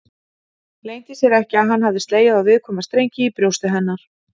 Leyndi sér ekki að hann hafði slegið á viðkvæma strengi í brjósti hennar.